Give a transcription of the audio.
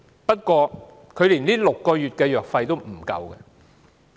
不過，她連6個月的藥費也無法支付。